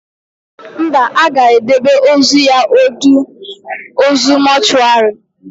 Mba, a ga-edebe ozu ya ọdọ ozu mọchụarị